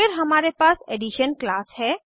फिर हमारे पास एडिशन क्लास है